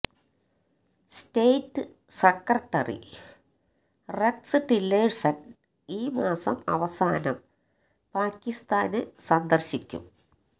state secretary Rex Tillerson ഈ മാസം അവസാനം പാകിസ്താന് സന്ദര്ശിക്കും